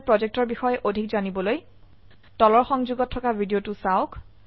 spoken tutorial projectৰ বিষয়ে অধিক জানিবলৈ তলৰ সংযোগত থকা ভিডিঅ চাওক